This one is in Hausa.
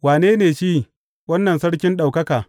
Wane ne shi, wannan Sarkin ɗaukaka?